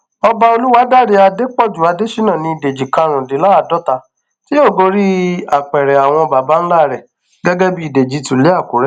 ọba olùwádàrẹ adépọjù adésínà ní dèjì karùndínláàádọta tí yóò gorí apẹrẹ àwọn baba ńlá rẹ gẹgẹ bíi dèjì tìlú àkùrẹ